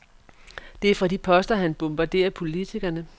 Det er fra de poster, han bombarderer politikerne.